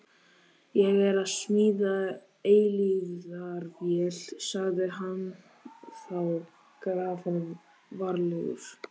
Ég er að smíða eilífðarvél, sagði hann þá grafalvarlegur.